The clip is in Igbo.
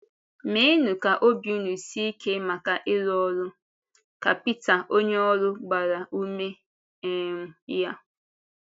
“Mèenụ ka obi ùnụ sie ike maka ịrụ ọrụ,” ka Pítà onye ọ̀rụ gbàrà ume um ya.